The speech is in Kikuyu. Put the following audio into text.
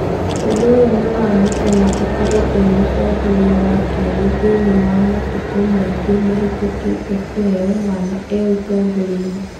ũndũũyũnĩwamũtũma akorwo e mũtongoria wa kerĩ thĩinĩi wa matukũmaingĩ mahetũkite kũheo mwana e ũtongoriainĩ.